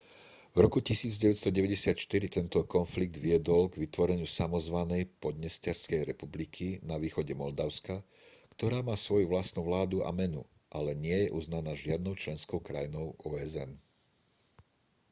v roku 1994 tento konflikt viedol k vytvoreniu samozvanej podnesterskej republiky na východe moldavska ktorá má svoju vlastnú vládu a menu ale nie je uznaná žiadnou členskou krajinou osn